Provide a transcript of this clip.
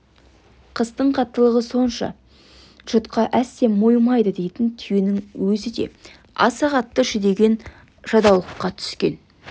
қыстың қаттылығы сонша жұтқа әсте мойымайды дейтін түйенің өзі де аса қатты жүдеген жадаулыққа түскен